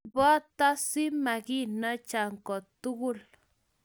Ribota si maginacha ko tukul